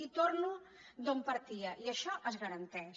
i torno d’on partia i això es garanteix